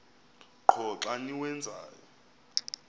qho xa niwenzayo